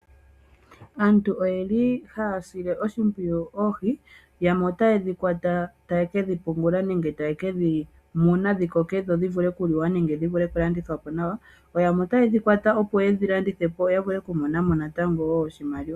Aantu oye li haya sile oshimpwiyu oohi, yamwe otaye dhi kwata taye kedhi pungula nenge taye ke dhi muna dhi koke dhi vule okuliwa, nenge okulandithwapo nawa. Yo yamwe otaye dhi kwata ye dhi landithepo, ya vule okumonamo natango oshimaliwa.